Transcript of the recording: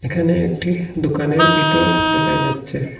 এখানে একটি দোকানের ভিতর দেখা যাচ্ছে।